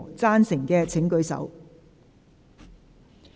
贊成的請舉手。